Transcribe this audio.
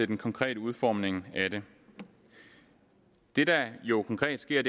den konkrete udformning af det det der jo konkret sker